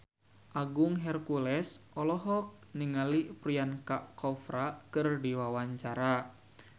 Agung Hercules olohok ningali Priyanka Chopra keur diwawancara